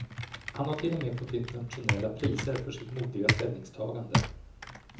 Han har till och med fått internationella priser för sitt modiga ställningstagande.